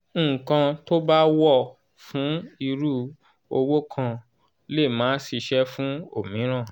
ǹkan tó bá wọ̀ fún irú òwò kan lè má ṣíṣe fún òmíràn